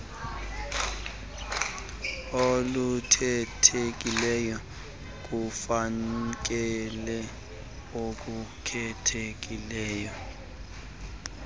olukhethekileyo kufakelo olukhethekileyo